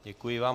Děkuji vám.